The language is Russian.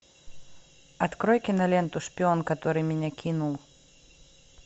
открой киноленту шпион который меня кинул